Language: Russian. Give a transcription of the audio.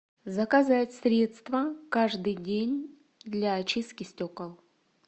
заказать средство каждый день для очистки стекол